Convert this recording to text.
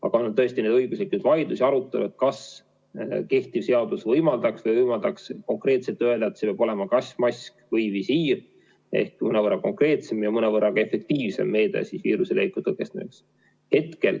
Aga on olnud tõesti õiguslikke vaidlusi ja arutelu, kas kehtiv seadus võimaldaks konkreetselt öelda, et see peab olema kas mask või visiir ehk mõnevõrra konkreetsem ja mõnevõrra ka efektiivsem meede viiruse leviku tõkestamiseks.